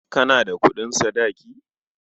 Kana da kuɗin sadaki?